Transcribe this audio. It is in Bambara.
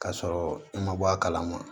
K'a sɔrɔ i ma bɔ a kalama